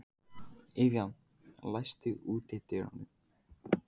Evían, læstu útidyrunum.